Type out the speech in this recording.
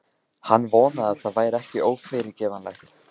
Hann vonaði það væri ekki ófyrirgefanlegt.